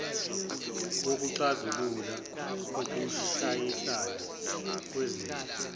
wokuxazulula ukushayisana kwezifiso